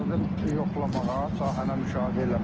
Gəldim yoxlamağa, sahəni müşahidə eləməyə.